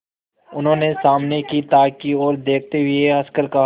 उन्होंने सामने की ताक की ओर देखते हुए हंसकर कहा